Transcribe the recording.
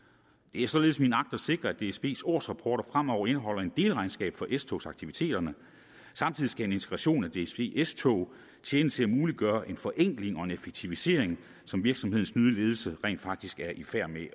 det er således min agt at sikre at dsbs årsrapporter fremover indeholder et delregnskab for s togs aktiviteterne samtidig skal en integration af dsb s tog tjene til at muliggøre en forenkling og en effektivisering som virksomhedens nye ledelse rent faktisk er i færd med